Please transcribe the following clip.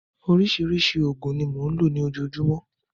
Oríṣiríṣi òògùn ni mò ń lò ní ojoojúmọ́.